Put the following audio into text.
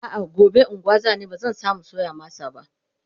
a'a gobe unguwa zani bazan samu soya masa ba